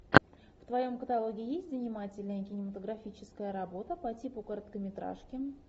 в твоем каталоге есть занимательная кинематографическая работа по типу короткометражки